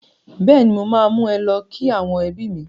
Bẹ́ẹ̀ni mo máa mú ẹ lọ kí àwọn ẹbí mi